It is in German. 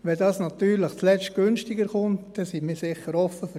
Wenn dies natürlich zuletzt günstiger kommt, sind wir sicher offen dafür.